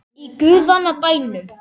Í guðanna bænum.